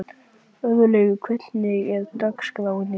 Örlaugur, hvernig er dagskráin í dag?